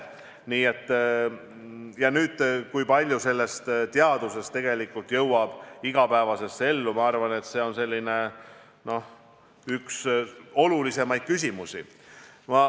Ma arvan, et see, kui palju sellest teadusest tegelikult jõuab igapäevasesse ellu, on üks olulisemaid küsimusi.